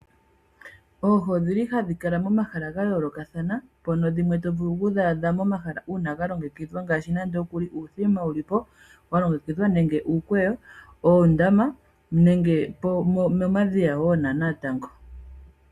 Oohi odhili hadhi kala momahala gayoolokathana mpono dhimwe tovulu okudhaadha momahala uuna galongekidhwa ngaashi, nande okuli uuthima wuli po walongekidhwa nenge uukweyo, oondama nenge momadhiya nonatango.